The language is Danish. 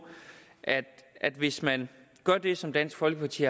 at at hvis man gør det som dansk folkeparti